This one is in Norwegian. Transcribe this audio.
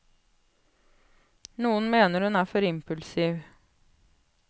Noen mener hun er for impulsiv.